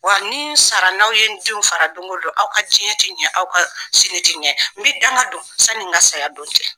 Wa ni n sara n'aw ye n denw fara don ko don, aw ka diɲɛ tɛ ɲɛ, aw ka sini tɛ ɲɛ n bi danga don sani n ka saya don cɛ.